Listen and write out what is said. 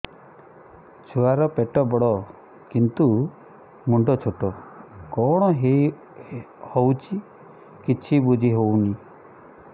ଛୁଆର ପେଟବଡ଼ କିନ୍ତୁ ମୁଣ୍ଡ ଛୋଟ କଣ ହଉଚି କିଛି ଵୁଝିହୋଉନି